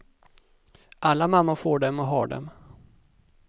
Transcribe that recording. Alla mammor får dem och har dem.